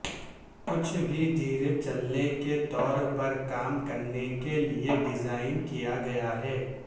کچھ بھی ڈھیر چلنے کے طور پر کام کرنے کے لئے ڈیزائن کیا گیا ہے